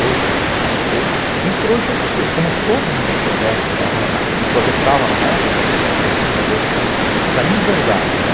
Eu eu introjectei, como todo mundo introjectava na época, essa inverdade, né?